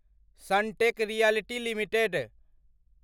Sunteck realty limited